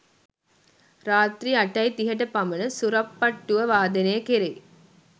රාත්‍රී 8.30 ට පමණ සුරප්පට්ටුව වාදනය කෙරෙයි.